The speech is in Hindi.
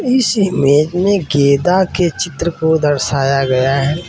इस इमेज में गेंदा के चित्र को दर्शाया गया है।